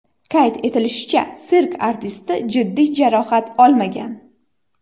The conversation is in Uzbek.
Qayd etilishicha, sirk artisti jiddiy jarohat olmagan.